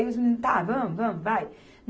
Aí os meninos, tá, vamos, vamos, vai.